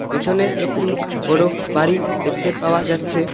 পেছনে একটি বড় বাড়ি দেখতে পাওয়া যাচ্ছে।